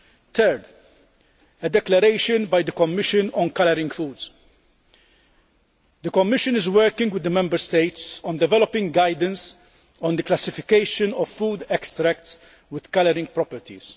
Thirdly, a declaration by the Commission on food colouring. The Commission is working with the Member States on developing guidelines on the classification of food extracts with colouring properties.